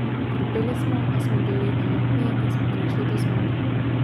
Trpeli smo, a smo bili enotni in smo prišli do zmage.